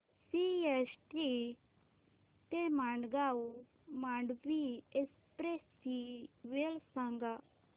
CST ते Madgaon Mandovi express ची वेळ सांगा